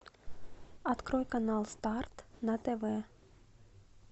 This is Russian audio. открой канал старт на тв